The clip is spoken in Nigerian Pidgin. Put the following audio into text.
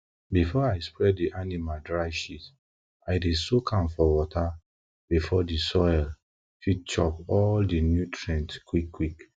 before i spread di animal dry shit i dey soak am for water make di soil fit chop all di nutrient quickquick